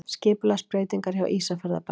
Skipulagsbreytingar hjá Ísafjarðarbæ